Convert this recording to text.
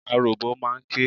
Aròbó máa ń ké.